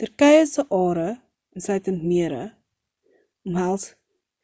turkye se are insluitend mere omhels